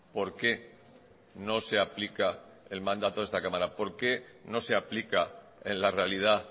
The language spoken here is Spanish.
por qué no se aplica el mandato de esta cámara por qué no se aplica en la realidad